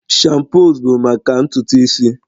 shampoos bụ maka ntutu isi